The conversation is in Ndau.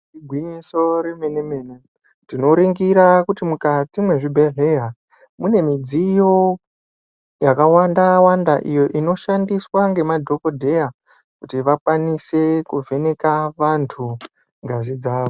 Igwinyiso remene mene tinoringirs kuti mukati mezvibhedhleya mune midziyo yakawanda-wanda iyo inoshandiswa ngemadhokodheya kuti vakwanise kuvheneka vantu ngazi dzavo.